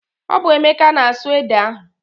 Ọ bụ Emeka na-asụ ede ahụ.